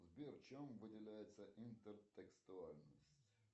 сбер чем выделяется интертекстуальность